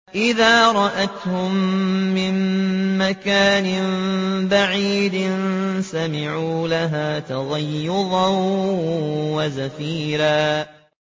إِذَا رَأَتْهُم مِّن مَّكَانٍ بَعِيدٍ سَمِعُوا لَهَا تَغَيُّظًا وَزَفِيرًا